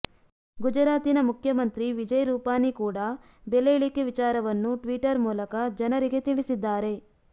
ಗುಜರಾತಿನ ಮುಖ್ಯಮಂತ್ರಿ ವಿಜಯ್ ರೂಪಾನಿ ಕೂಡ ಬೆಲೆ ಇಳಿಕೆ ವಿಚಾರವನ್ನು ಟ್ವೀಟರ್ ಮೂಲಕ ಜನರಿಗೆ ತಿಳಿಸಿದ್ದಾರೆ